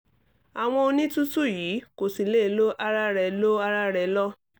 àwọn onítùtù yìí kò sì lè lo ara rẹ̀ lo ara rẹ̀ lọ́